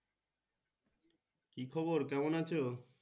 কি খবর কেমন আছো?